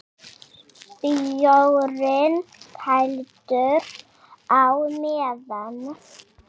Bjórinn kældur á meðan.